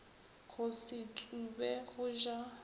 go se tsube go ja